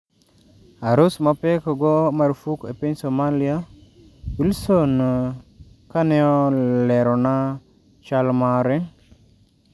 Arus mapek o go marufuk e pny somalia" Wilson kaneolerona chal mare,